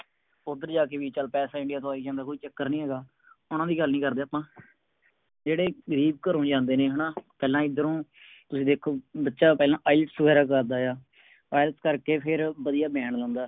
ਓਧਰ ਜਾ ਕੇ ਵੀ ਚਲ ਪੈਸਾ India ਤੋਂ ਆਈ ਜਾਂਦਾ ਕੋਈ ਚੱਕਰ ਨਹੀਂ ਹੇਗਾ। ਓਹਨਾ ਦੀ ਗੱਲ ਨੀ ਕਰਦੇ ਅੱਪਾ ਜਿਹੜੇ ਗਰੀਬ ਘਰੋਂ ਜਾਂਦੇ ਨੇ ਹੈ ਪਹਿਲਾ ਐਦਰੋ ਤੁਸੀਂ ਵੇਖੋ ਬੱਚਾ ਪਹਿਲਾ IELTS ਵਗੈਰਾ ਕਰਦਾ ਆ। IELTS ਕਰਕੇ ਫਿਰ ਵਧੀਆ band ਲਾਉਂਦਾ ਹੈ।